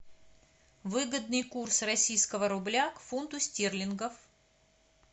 выгодный курс российского рубля к фунту стерлингов